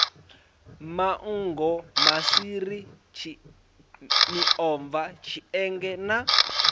manngo maswiri miomva tshienge na